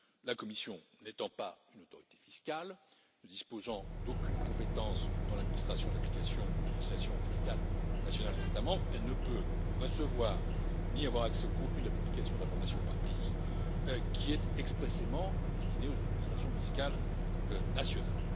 La Commission n'étant pas une autorité fiscale, ne disposant d'aucune compétence dans l'administration de l'application des législations fiscales nationales des États membres, elle ne peut recevoir ni avoir accès au contenu de la publication d'informations par pays, qui est expressément destiné aux administrations fiscales nationales.